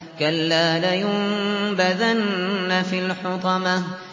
كَلَّا ۖ لَيُنبَذَنَّ فِي الْحُطَمَةِ